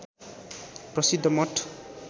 प्रसिद्ध मठ